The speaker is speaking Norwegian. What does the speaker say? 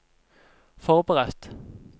forberedt